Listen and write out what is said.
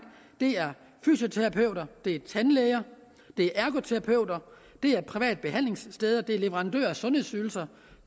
det er fysioterapeuter det er tandlæger det er ergoterapeuter det er private behandlingssteder det er leverandører af sundhedsydelser